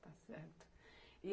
Está certo. E